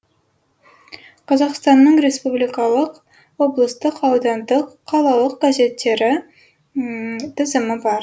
қазақстанның республикалық облыстық аудандық қалалық газеттері тізімі бар